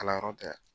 Kalanyɔrɔ tɛ